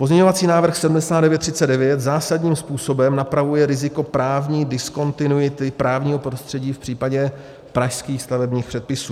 Pozměňovací návrh 7939 zásadním způsobem napravuje riziko právní diskontinuity právního prostředí v případě pražských stavebních předpisů.